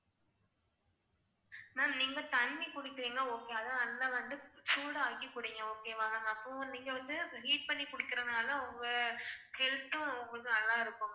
ma'am நீங்க தண்ணி குடிக்குறிங்க okay அது நல்லா வந்து சூடாக்கி குடுங்க okay வா. அப்போ நீங்க வந்து heat பண்ணி குடிக்கிறதுனால உங்க health தும் உங்களுக்கு நல்லா இருக்கும்